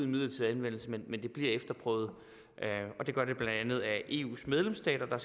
midlertidig anvendelse men at det bliver efterprøvet og det gør det blandt andet af eus medlemsstater der